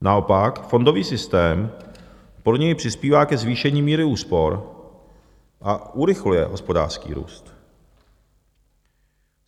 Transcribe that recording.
Naopak fondový systém podle něj přispívá ke zvýšení míry úspor a urychluje hospodářský růst.